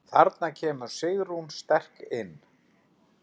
Þarna kemur Sigrún sterk inn.